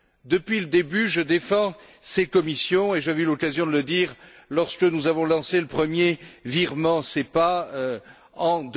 Depuis le début, je défends ces commissions et j'avais eu l'occasion de le dire lorsque nous avons lancé le premier virement SEPA en